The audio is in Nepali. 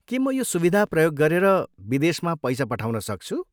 के म यो सुविधा प्रयोग गरेर विदेशमा पैसा पठाउन सक्छु?